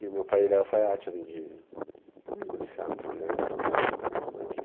E o meu pai, ele é alfaiate, além de policial, então ele é todo arrumadinho.